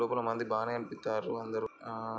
లోపల మంది బానే గనిపిత్తన్రు అందరూ ఆఆ --